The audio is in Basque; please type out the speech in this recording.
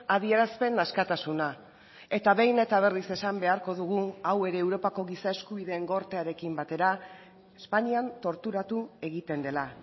adierazpen askatasuna eta behin eta berriz esan beharko dugu hau ere europako giza eskubideen gortearekin batera espainian torturatu egiten dela